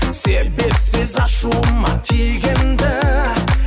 себепсіз ашуыма тигенді